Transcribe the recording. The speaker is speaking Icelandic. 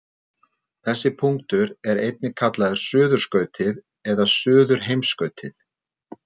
Þessi punktur er einnig kallaður suðurskautið eða suðurheimskautið.